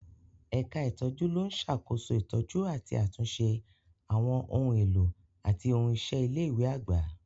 Ẹ̀ka ìtọ́jú ló ń ṣàkóso ìtọ́jú àti àtúnṣe àwọn ohun èlò àti ohun iṣẹ́ ilé ìwé àgbà.